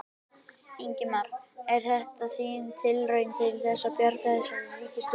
Ingimar: Er þetta þín tilraun til þess að bjarga þessari ríkisstjórn?